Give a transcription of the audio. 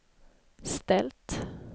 ställt